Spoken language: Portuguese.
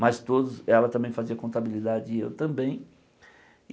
Mas todos ela também fazia contabilidade e eu também.